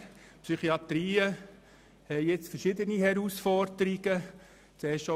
Die Psychiatriebetriebe sehen sich mit verschiedenen Herausforderungen konfrontiert.